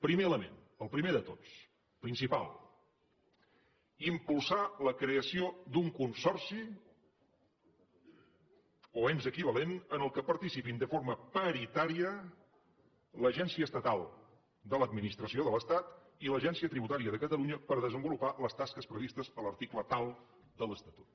primer element el primer de tots principal impulsar la creació d’un consorci o ens equivalent en què participin de forma paritària l’agència estatal de l’administració de l’estat i l’agència tributària de catalunya per desenvolupar les tasques previstes a l’article tal de l’estatut